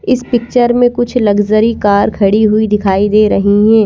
इस पिक्चर में कुछ लग्ज़री कार खड़ी हुई दिखाई दे रही हैं।